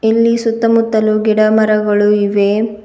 ಇಲ್ಲಿ ಸುತ್ತಮುತ್ತಲು ಗಿಡ ಮರಗಳು ಇವೆ.